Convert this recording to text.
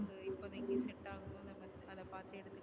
இப்பவே recent அ அத பாத்து எடுத்துக்க